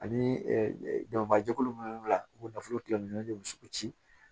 Ani danfara jɛkulu minnu la u bɛ nafolo tigɛ ɲɔgɔn cɛ